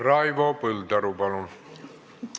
Raivo Põldaru, palun!